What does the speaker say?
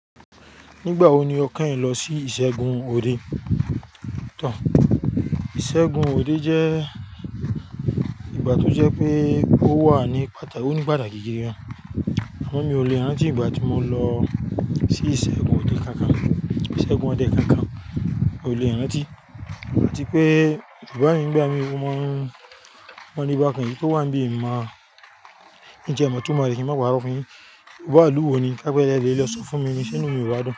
Nígbà wo ni o kanyin lọ sí ìṣègùn òde? Ìṣègùn òde jẹ́ ìgbà tó jẹ́ pé ó wà ní pàtàkì, ó ní pàtàkì gidi gan. Àmọ mi ò le rántí ìgbà tí mo lọ sí ìṣègùn òde kankan. Ìṣègùn òde kankan, mi ò le rántí. Àti pé bàbá mi nígbà mí wọ́n, wọ́n ní bá kan yìí pé ó wà níbí, máà ń jẹ ìmọ̀ tó mọ̀lẹ́ kí n máa wà lórí ọkùnrin. Òwú àlùwọ̀ ni, ká pẹ́ lẹ́ẹ́rín lọ sọ fún mi níṣẹ́ nù mi wá dán.